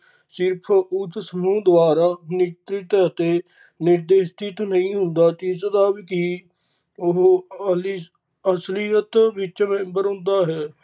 ਸਿਰਫ ਉਸ ਸਮੂਹ ਦੁਆਰਾ ਨਿਕਟ ਅਤੇ ਨਿਰਦੇਸਿਕ ਨਈ ਹੁੰਦਾ ਤੇ ਇਸ ਦਾ ਅਸਲੀਅਤ ਵਿੱਚ member ਹੁੰਦਾ ਹੈ।